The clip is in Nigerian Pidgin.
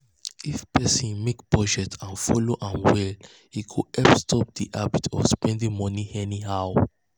if person make budget and follow am well e go help stop the habit of spending money anyhow.